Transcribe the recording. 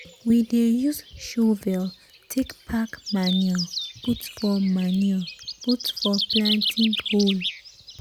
we dey use shovel take pack manure put for manure put for planting hole.